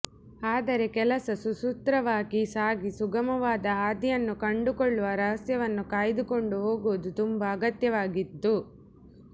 ಆದರೆ ಕೆಲಸ ಸುಸೂತ್ರವಾಗಿ ಸಾಗಿ ಸುಗಮವಾದ ಹಾದಿಯನ್ನು ಕಂಡುಕೊಳ್ಳಲು ರಹಸ್ಯವನ್ನು ಕಾಯ್ದುಕೊಂಡು ಹೋಗುವುದು ತುಂಬ ಅಗತ್ಯವಾಗಿದ್ದಿತು